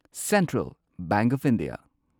central bank of India